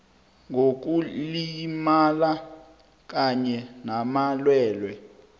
ngokulimala kanye namalwelwe